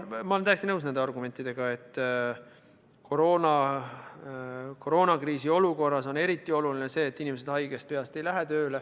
Ma olen täiesti nõus nende argumentidega, et koroonakriisi olukorras on eriti oluline see, et inimesed haigena tööle ei lähe.